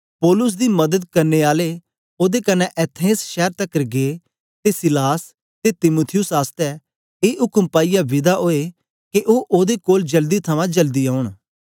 पौलुस दी मदद करने आले ओदे कन्ने एथेंस शैर तकर गै ते सीलास ते तीमुथियुस आसतै ए उक्म पाईयै विदा ओए के ओ ओदे कोल जल्दी थमां जल्दी औंन